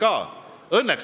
Aitäh, ministrid!